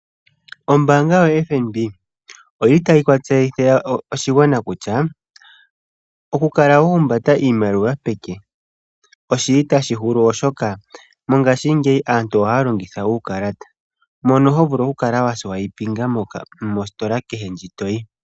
Ombaanga yaFNB oyi li tayi tseyithile oshigwana kutya oku kala wa humbata iimaliwa peke oshili tashi hulu, oshoka mongaashingeyi aantu ohaya longitha uukalata mono ho vulu oku kala wa nanitha mositola kehe ndji toyi.